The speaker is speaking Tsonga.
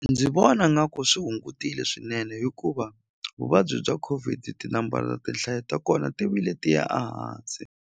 Ndzi vona nga ku swi hungutile swinene hikuva vuvabyi bya COVID tinambara tinhlayo ta kona ti vile tiya a hansi.